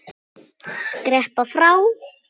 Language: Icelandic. Skreppa frá?